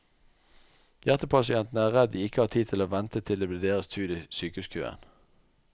Hjertepasientene er redd de ikke har tid til å vente til det blir deres tur i sykehuskøen.